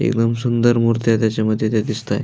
एकदम सुंदर मुर्त्या त्याच्यामध्ये त्या दिसतंय.